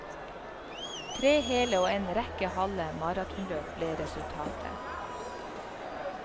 Tre hele og en rekke halve maratonløp ble resultatet.